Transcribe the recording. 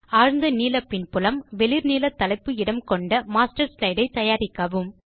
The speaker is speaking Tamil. ஆழ்ந்த நீல பின்புலம் வெளிர் நீல தலைப்பு இடம் கொண்ட மாஸ்டர் ஸ்லைடை தயாரிக்கவும்